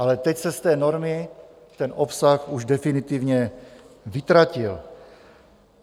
Ale teď se z té normy ten obsah už definitivně vytratil.